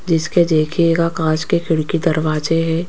जिसके देखिएगा कांच के खिड़की दरवाजे है।